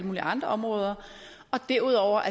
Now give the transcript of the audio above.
mulige andre områder og derudover